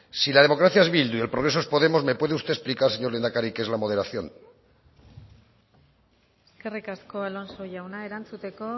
si la democracia es bildu y el progreso es podemos me puede usted explicar señor lehendakari qué es la moderación eskerrik asko alonso jauna erantzuteko